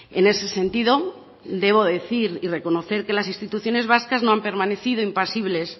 en ese sentido debo decir y reconocer que las instituciones vascas no han permanecido impasibles